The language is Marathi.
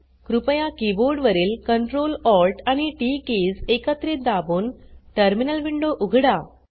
कृपया कीबोर्ड वरील Ctrl Alt आणि टीटी कीज एकत्रित दाबून टर्मिनल विंडो उघडा